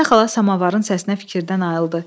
Əminə xala samavarın səsinə fikirdən ayrıldı.